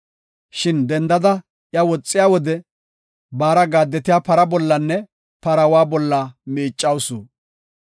Shin dendada iya woxiya wode, baara gaadetiya para bollanne paraawa bolla miiccawusu.